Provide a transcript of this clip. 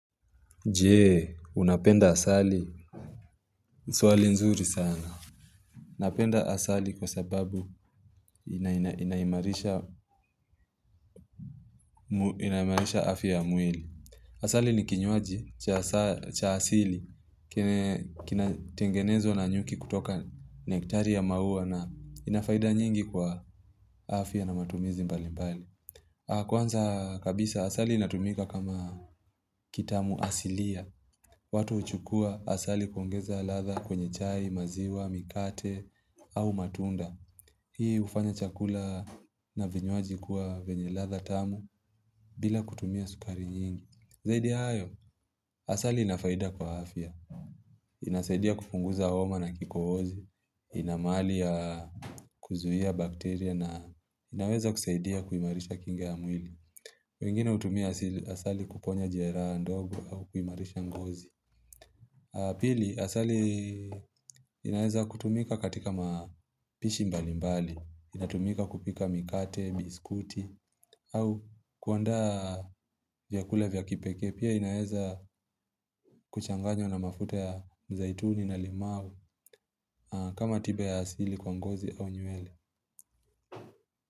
Je, unapenda asali, swali nzuri sana. Napenda asali kwa sababu inaimarisha afya ya mwili. Asali ni kinywaji cha asili, kina tengenezwa na nyuki kutoka nektari ya maua na inafaida nyingi kwa afya na matumizi mbali mbali. Kwanza kabisa, asali inatumika kama kitamuasilia. Watu huchukua asali kuongeza ladhaa kwenye chai, maziwa, mikate au matunda. Hii hufanya chakula na vinywaji kuwa vyenye ladhaa tamu bila kutumia sukari nyingi. Zaidi ya hayo, asali inafaida kwa afya. Inasaidia kupunguza homa na kikohozi. Ina mahali ya kuzuia bakteria na inaweza kusaidia kuimarisha kinga ya mwili. Wengine hutumia asali kuponya jeraha ndogo au kuimarisha ngozi. Pili, asali inaeza kutumika katika mapishi mbali mbali, inatumika kupika mikate, biskuti, au kuandaa vyakula vya kipekee pia inaeza kuchanganywa na mafuta ya mzaituni na limau kama tiba ya asili kwa ngozi au nywele.